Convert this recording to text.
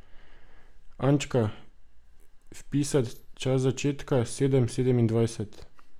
Ančka, vpisat čas začetka, sedem sedemindvajset.